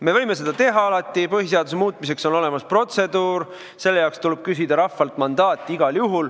Me võime seda alati teha, põhiseaduse muutmiseks on olemas protseduur, selle jaoks tuleb igal juhul küsida rahvalt mandaati.